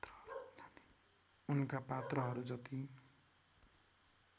उनका पात्रहरू जति